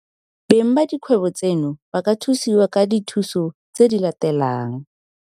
Beng ba dikgwebo tseno ba ka thusiwa ka dithuso tse di latelang.